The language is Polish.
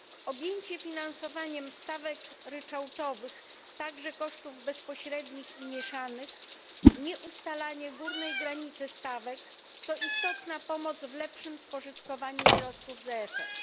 Objęcie finansowaniem stawek ryczałtowych, także kosztów bezpośrednich i mieszanych, nieustalanie górnej granicy stawek to istotna pomoc w lepszym spożytkowaniu środków z EFS.